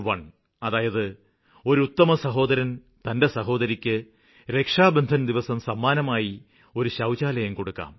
1അതായത് ഒരു ഉത്തമ സഹോദരന് തന്റെ സഹോദരിക്ക് രക്ഷാബന്ധന് ദിവസം സമ്മാനമായി ഒരു ശൌചാലയം കൊടുക്കാം